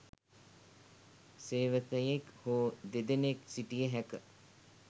සේවකයෙක් හෝ දෙදෙනෙක් සිටිය හැක